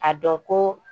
A dɔn ko